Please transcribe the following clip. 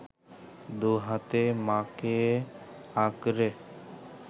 দু’হাতে মা’কে আঁকড়ে